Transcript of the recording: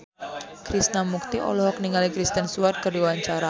Krishna Mukti olohok ningali Kristen Stewart keur diwawancara